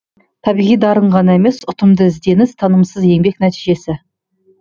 табиғи дарын ғана емес ұтымды ізденіс тынымсыз еңбек нәтижесі